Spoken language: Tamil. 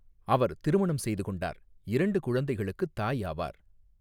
அவர் திருமணம் செய்துகொண்டார் இரண்டு குழந்தைகளுக்கு தாய் ஆவாா்.